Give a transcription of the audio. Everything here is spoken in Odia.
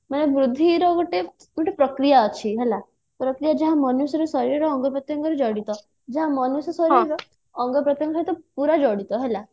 ମାନେ ବୃଦ୍ଧି ର ଗୋଟେ ଗୋଟେ ପ୍ରକ୍ରିୟା ଅଛି ହେଲା ପ୍ରକ୍ରିୟା ଯାହା ମନୁଷ୍ୟର ଶରୀରର ଅଙ୍ଗ ପ୍ରତ୍ୟଙ୍ଗ ସହ ଜଡିତ ଯାହା ମନୁଷ୍ୟର ଶରୀରର ଅଙ୍ଗ ପ୍ରତ୍ୟଙ୍ଗ ସହିତ ପୁରା ଜଡିତ ହେଲା